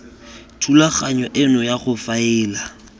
thulaganyo eno ya go faela